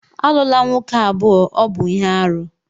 Alụla nwoke abụọ, ọ bụ ihe aru!